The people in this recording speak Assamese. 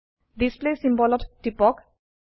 ডিছপ্লে চিম্বল ত টিপক